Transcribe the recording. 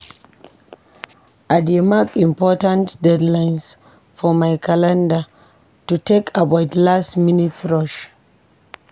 I dey mark important deadlines for my calendar to take avoid last-minute rush.